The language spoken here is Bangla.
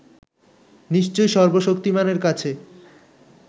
নিশ্চয়ই সর্বশক্তিমানের কাছে